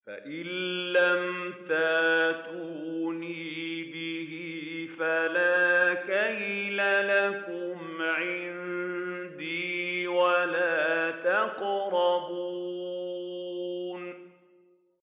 فَإِن لَّمْ تَأْتُونِي بِهِ فَلَا كَيْلَ لَكُمْ عِندِي وَلَا تَقْرَبُونِ